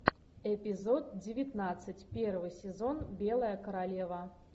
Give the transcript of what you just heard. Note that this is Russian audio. эпизод девятнадцать первый сезон белая королева